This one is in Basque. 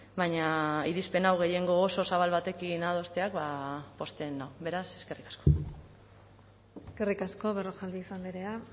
baina irizpen hau gehiengo oso zabal batekin adosteak ba pozten nau beraz eskerrik asko eskerrik asko berrojalbiz andrea